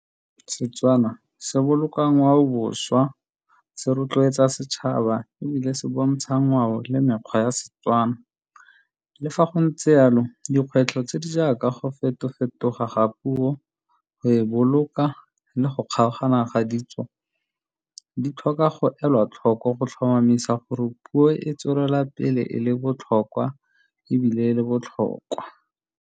Setswana se boloka ngwaoboswa, se rotloetsa setšhaba ebile se bontsha ngwao le mekgwa ya Setswana. Le fa go ntse yalo, dikgwetlho tse di jaaka go feto-fetoga ga puo, go e boloka le go kgaogana ga ditso, di tlhoka go elwa tlhoko go tlhomamisa gore puo e tswelela pele e le botlhokwa ebile e le botlhokwa.